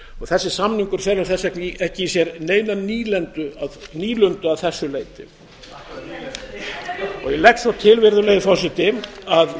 þessi samningur felur þess vegna ekki í sér neina nýlundu að þessu leyti ég legg svo til virðulegi forseti að